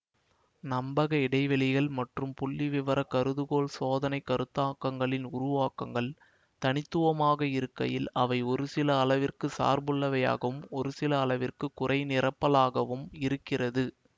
நம்பக இடைவெளிகள் மற்றும் புள்ளிவிவர கருதுகோள் சோதனை கருத்தாக்கங்களின் உருவாக்கங்கள் தனித்துவமாக இருக்கையில் அவை ஒருசில அளவிற்கு சார்புள்ளவையாகவும் ஒருசில அளவிற்கு குறைநிரப்பலாகவும் இருக்கிறது